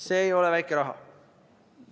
See ei ole väike raha.